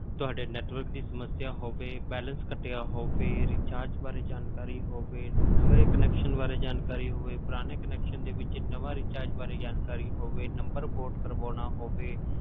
ਤੁਹਾਡੀ network ਦੀ ਸਮੱਸਿਆ ਹੋਵੇ balance ਕੱਟਿਆ ਹੋਵੇ recharge ਬਾਰੇ ਜਾਣਕਾਰੀ ਹੋਵੇ ਨਵੇਂ connection ਬਾਰੇ ਜਾਣਕਾਰੀ ਹੋਵੇ, ਪੁਰਾਣੇ connection ਦੇ ਵਿੱਚ ਨਵਾਂ recharge ਬਾਰੇ ਜਾਣਕਾਰੀ ਹੋਵੇ number port ਕਰਵਾਉਣਾ ਹੋਵੇ,